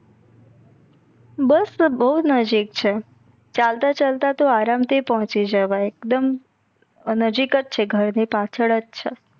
બસ બો નજદીક છે ચાલતા ચાલતા તો આરામથી પોચી જવાઈ એકદમ નજદીક્જ છે ઘર ની પછાડ જ છે.